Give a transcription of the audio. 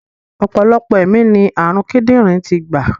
Ọ̀pọ̀lọpọ̀ ẹ̀mí ni ààrùn kídìrín ti gbà.